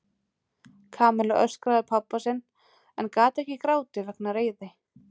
Kamilla öskraði á pabba sinn en gat ekki grátið vegna reiði.